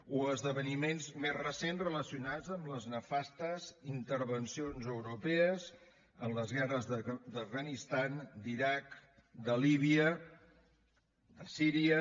o esdeveniments més recents relacionats amb les nefastes intervencions europees en les guerres de l’afganistan de l’iraq de líbia de síria